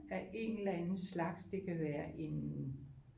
Af en eller anden slags det kan være en